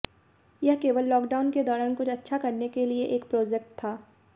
यह केवल लॉकडाउन के दौरान कुछ अच्छा करने के लिए एक प्रोजेक्ट था